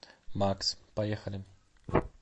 макс поехали